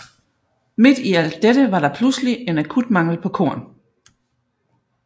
Midt i alt dette var der pludselig en akut mangel på korn